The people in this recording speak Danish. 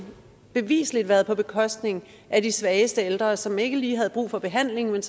bevisligt været på bekostning af de svageste ældre som ikke lige havde brug for behandling men